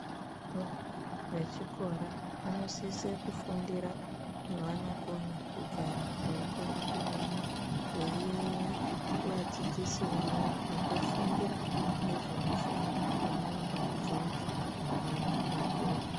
Vana vechikora vanosise kufundira mwevanokona kugara veikone kunyora, veiyaiya kuvadzidzisi vavo vakafundira ngezvemishando yavanoda kuzoita mangwani vakura.